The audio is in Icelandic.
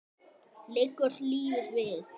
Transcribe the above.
Liggur lífið við?